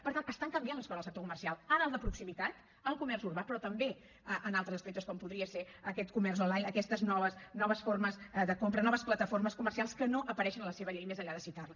per tant estan canviant les coses en el sector comercial en el de proximitat al comerç urbà però també en altres aspectes com podria ser aquest comerç online aquestes noves formes de compra noves plataformes comercials que no apareixen a la seva llei més enllà de citar les